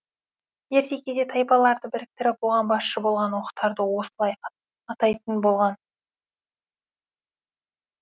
ерте кезде тайпаларды біріктіріп оған басшы болған оқтарды осылай атайтын болған